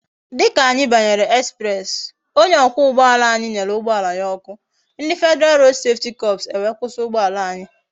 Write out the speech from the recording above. Dika anyi banyere express, onye okwa ugboala anyi nyere ugboala ya oku, ndi federal road safety corps e wee kwusi ugboala anyi